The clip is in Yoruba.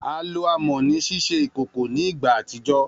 A lo amọ ni ṣiṣe ikoko ni igba atijọ.